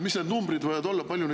Mis need numbrid võivad olla?